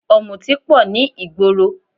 Ọ̀mùtí pọ̀ ní ìgboro